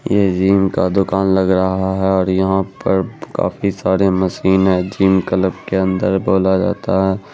ये जिम का दूकान लग रहा है और यहाँ पर काफी सारे मशीने जिम क्लब के अंदर बोला जाता है।